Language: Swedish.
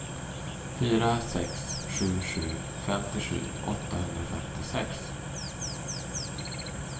fyra sex sju sju femtiosju åttahundrafemtiosex